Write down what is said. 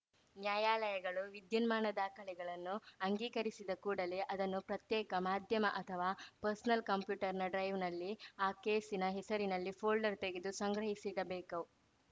ನ್ಯಾಯಾಲಯಗಳು ವಿದ್ಯುನ್ಮಾನ ದಾಖಲೆಗಳನ್ನು ಅಂಗೀಕರಿಸಿದ ಕೂಡಲೇ ಅದನ್ನು ಪ್ರತ್ಯೇಕ ಮಾಧ್ಯಮ ಅಥವಾ ಪರ್ಸ್‌ನಲ್‌ ಕಂಪ್ಯೂಟರ್‌ನ ಡ್ರೈವ್‌ನಲ್ಲಿ ಆ ಕೇಸಿನ ಹೆಸರಿನಲ್ಲಿ ಫೋಲ್ಡರ್‌ ತೆರೆದು ಸಂಗ್ರಹಿಸಿಡಬೇಕು